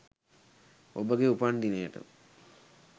ඔබගේ උපන් දිනයට